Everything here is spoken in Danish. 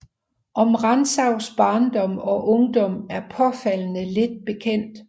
Om Rantzaus barndom og ungdom er påfaldende lidt bekendt